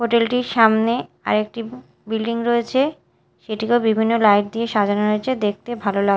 hotel -টির সামনে আরেকটি বিল্ডিং রয়েছে সেটিকেও বিভিন্ন লাইট দিয়ে সাজানো হয়েছে দেখতে ভালো লাগ--